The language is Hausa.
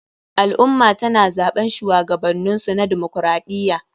Al ummah tana zaɓen shuwagabaninsu na demaokaraɗiya